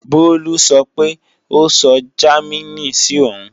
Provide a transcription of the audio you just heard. Bólú sọ pé ó sọ Jámínì sí òun